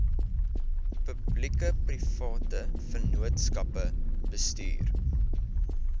publiekeprivate vennootskappe bestuur